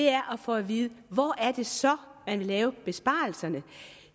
er at få at vide hvor er det så man vil lave besparelserne